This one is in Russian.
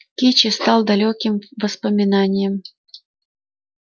кичи стал далёким воспоминанием